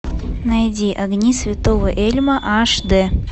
найди огни святого эльма аш д